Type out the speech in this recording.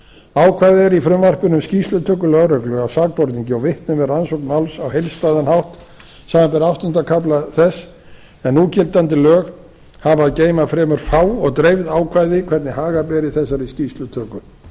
ákvæði er í frumvarpinu um skýrslutöku lögreglu af sakborningi og vitnum við rannsókn máls á heildstæðan hátt samanber áttunda kafla þess en núgildandi lög hafa að geyma fremur fá og dreifð ákvæði hvernig haga beri þessari skýrslutöku